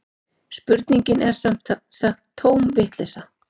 Spurningin er sem sagt tóm vitleysa